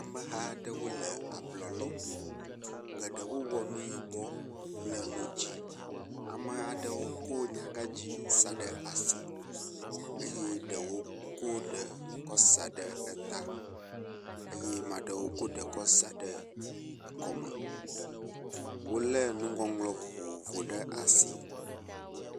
Ameha aɖewo le ablɔ lɔm. Geɖewo wɔ nu yibɔ kple nu dzi. Amea ɖewo ko nyagadzi sa ɖe asi eye eɖewo ko ɖe kɔ sa ɖe eta eye amea ɖewo ko ɖe kɔ sa ɖe kɔme. wo le nuŋɔŋlɔ vovovo ɖe asi.